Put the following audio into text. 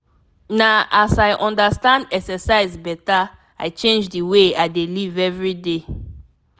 na as i understand exercise better i change the way i dey live every day.